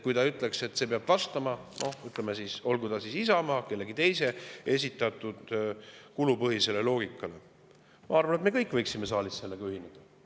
Kui ta ütleks, et see peab vastama, ütleme siis, Isamaa või kellegi teise esitatud kulupõhisele loogikale, siis ma arvan, et me kõik võiksime saalis sellega ühineda.